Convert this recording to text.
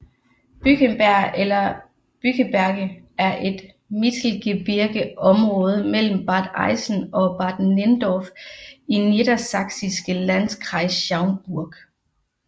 Bückeberg eller Bückeberge er et mittelgebirgeområde mellem Bad Eilsen og Bad Nenndorf i niedersachsiske Landkreis Schaumburg